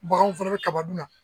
Bagan fɛnɛ bɛ kaba dun na.